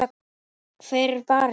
Hver er barinn?